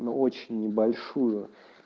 но очень небольшую